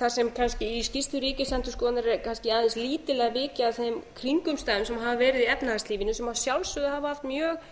þar sem kannski í skýrslu ríkisendurskoðunar er kannski aðeins lítillega vikið að þeim kringumstæðum sem hafa verið í efnahagslífinu sem að sjálfsögðu hafa haft mjög